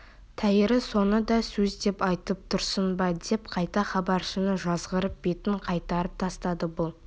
тәйірі соны да сөз деп айтып тұрсың ба деп қайта хабаршыны жазғырып бетін қайтарып тастады бұл